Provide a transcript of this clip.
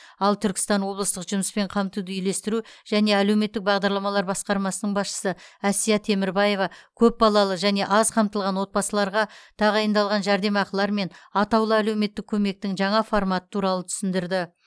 ал түркістан облыстық жұмыспен қамтуды үйлестіру және әлеуметтік бағдарламалар басқармасының басшысы әсия темірбаева көпбалалы және аз қамтылған отбасыларға тағайындалған жәрдемақылар мен атаулы әлеуметтік көмектің жаңа форматы туралы түсіндірді